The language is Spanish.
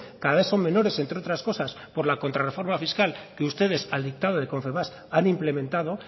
cada vez son menores entre otras cosas por la contra reforma fiscal que ustedes al dictado de confebask han implementado